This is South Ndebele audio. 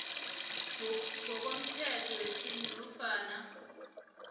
ngokomthetho wesintu nofana